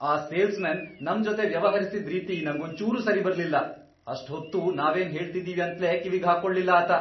ಆ ಸೇಲ್ಸ್ಮನ್ ನಮ್ ಜೊತೆ ವ್ಯವಹರ್ಸಿದ್ ರೀತಿ ನಂಗೊಂಚೂರೂ ಸರಿಬರ್ಲಿಲ್ಲ. ಅಷ್ಟ್ ಹೊತ್ತೂ ನಾವೇನ್ ಹೇಳ್ತಿದೀವಿ ಅಂತ್ಲೇ ಕಿವಿಗ್ ಹಾಕೊಳ್ಲಿಲ್ಲ ಆತ.